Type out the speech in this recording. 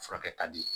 Furakɛ ka di